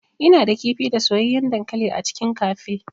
Ina da kifi da soyayyen dankali a cikin cafe.